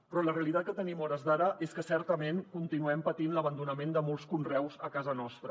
però la realitat que tenim a hores d’ara és que certament continuem patint l’abandonament de molts conreus a casa nostra